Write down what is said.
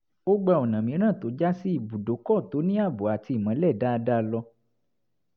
ó gba ọ̀nà mìíràn tó já sí ibùdókọ̀ tó ní ààbò àti ìmọ́lẹ̀ dáadáa lọ